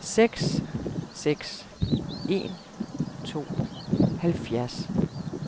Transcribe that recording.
seks seks en to halvfjerds